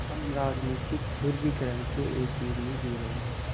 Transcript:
हम राजनीतिक ध्रुवीकरण के एक युग में जी रहे हैं